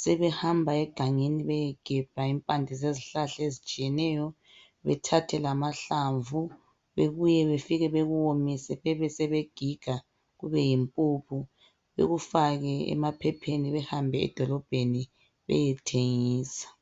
sebehamba egangeni beyegebha impande zezihlahla ezitshiyeneyo bethathe lamahlamvu bebuye befike bekuwomise bebesebegiga kubeyimpuphu bekufake emaphepheni behambe edolobheni beyethengisa